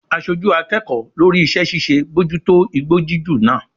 Aṣojú akẹ́kọ̀ọ́ lórí iṣẹ́ ṣíṣe bójú tó igbó jíjù náà.